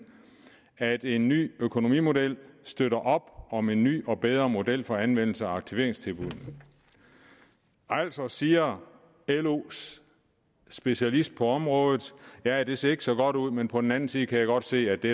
at en ny økonomimodel støtter op om en ny og bedre model for anvendelsen af aktiveringstilbuddene altså siger los specialist på området ja det ser ikke så godt ud men på den anden side kan jeg godt se at det